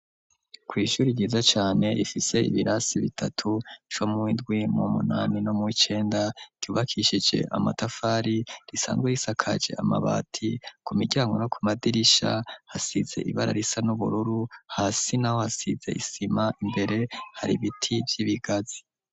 Kw'ishuri ryiza cane ifise ibirasi bitatu co mwindwi mu munani no mw'icenda ryubakishije amatafari risanzwe yisakaje amabati ku miryango no ku madirisha hasize ibara risa n'ubururu hasi na ho hasize isima imbere hari ibiti vy'ibigazi.